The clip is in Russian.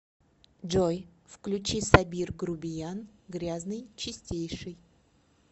джой включи сабир грубиян грязный чистейший